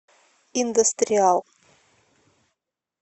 индастриал